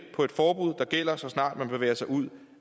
på et forbud der gælder så snart man bevæger sig ud